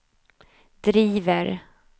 driver